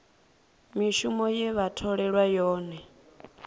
mishumo ye vha tholelwa yone